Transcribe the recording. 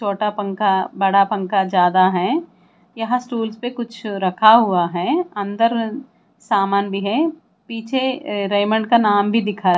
छोटा पंखा बड़ा पंखा ज्यादा है यहां स्टूल्स पे कुछ रखा हुआ है अंदर सामान भी है पीछे रेमंड का नाम भी दिखा--